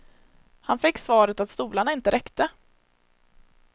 Han fick svaret att stolarna inte räckte.